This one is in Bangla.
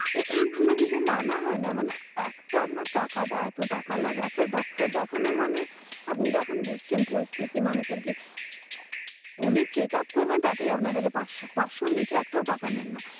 এইগুলো যদি মানা হয় না? মানে একদম না taka টা এত taka লাগে। একটা doctor দেখানো মানে আপনি তো এখন বুঝছে পরিস্থিতি মানুষদের কে, উনি checkup করবেন তাতেই আপনার কাছে পাঁচশো। পাঁচশোর নিচে এটাও taka নেয় না।